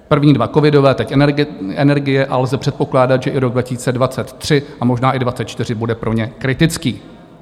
První dva covidové, teď energie a lze předpokládat, že i rok 2023 a možná i 2024, bude pro ně kritický.